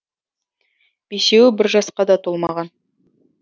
бесеуі бір жасқа да толмаған